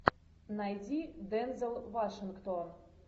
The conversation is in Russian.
найди дензел вашингтон